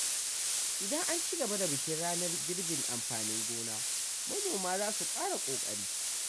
Idan an ci gaba da bikin ranar girbin amfanin gona, manoma za su ƙara ƙoƙari.